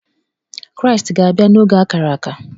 Kraịstị ga-abịa n’oge ákárà ákà